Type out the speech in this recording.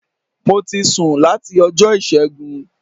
Mo ti sùn láti Ọjọ́ Ìṣẹ́gun